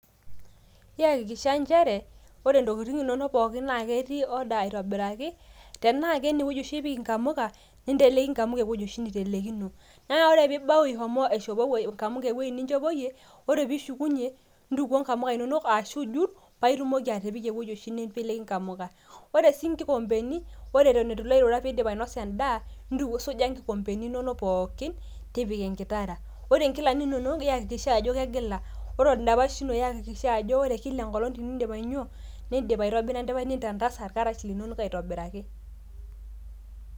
Iyakikisha inchere ore ntokitin pookin naa ketii order aitobiraki, tenaa kene weuji oshi inteleki nkamuka ,nintelki nkamuka ewueji oshi nitelekino naa ore pibau ishomo nkamuka ewuei nichopoyie ,ore pishukunyie ,ntukuo nkamuka inonok ashu ijut ,paa itumoki paa itumoki atipik ewueji oshi nip ninteleki nkamuka, ore sii nkikombeni ore eton ilo airura pin`dip ainosa end`aa ntukuo ,suja nkikombeni inonok pookin tipika enkitara, ore nkilani inono iyakikisha ajo kegila ,ore endapash ino iyakisha ajo kila enkolong tinidip ainyio nindip aitobira endapash nintantasa irkarash linonok aitobiraki